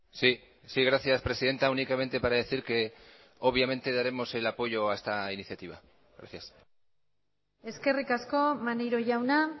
sí sí gracias presidenta únicamente para decir que obviamente daremos el apoyo a esta iniciativa gracias eskerrik asko maneiro jauna